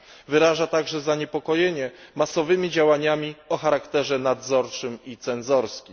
Wyraża także zaniepokojenie masowymi działaniami o charakterze nadzorczym i cenzorskim.